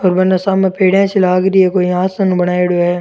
और बने सामे पेड़िया सी लाग री है कोई आसान बनायोडो है।